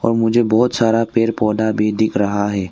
मुझे बहुत सारा पेड़ पौधा भी दिख रहा है।